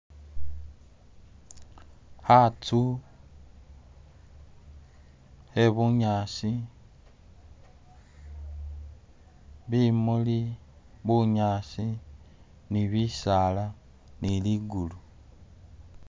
khazu khe bunyaasi bimuli, bunyaasi ni bisaala ni ligulu.